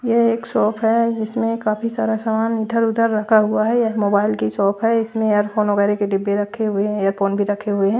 यह एक शॉप है जिसमें काफी सारा समान इधर-उधर रखा हुआ है यह मोबाइल की शॉप है इसमें एयरफोन वगैरा की डिब्बे रक्खे हुए एयरफोन भी रखे हुए हैं।